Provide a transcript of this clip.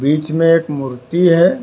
बीच में एक मूर्ति है।